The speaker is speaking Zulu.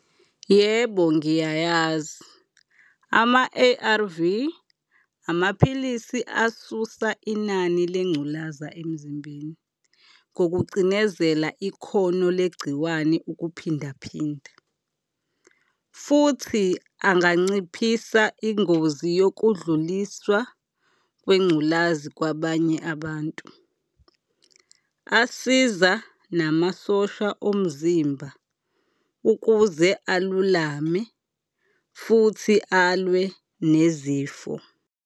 Yebo ngiyayazi, ama-A_R_V amaphilisi asusa inani lengculaza emzimbeni ngokucinezela ikhono legciwane ukuphinda phinda futhi anganciphisa ingozi yokudluliswa kwengculazi kwabanye abantu. Asiza namasosha omzimba ukuze alulame futhi alwe nezifo.